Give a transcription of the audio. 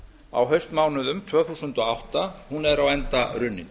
á haustmánuðum tvö þúsund og átta er á enda runnin